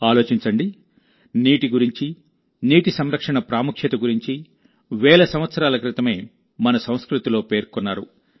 ఆలోచించండి నీటి గురించి నీటి సంరక్షణ ప్రాముఖ్యత గురించి వేల సంవత్సరాల క్రితమే మన సంస్కృతిలో పేర్కొన్నారు